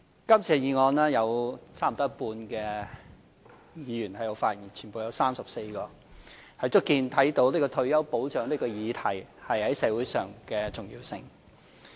今次議案有差不多一半議員發言，全部有34位，足見退休保障這項議題在社會上的重要性。